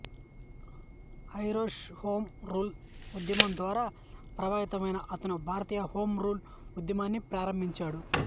Irish home rule ఉద్యమం ద్వారా ప్రభావితమై అతను భారతీయ హోం రూల్ ఉద్యమాన్ని ప్రారంభించాడు